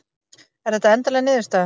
Er þetta endanleg niðurstaða?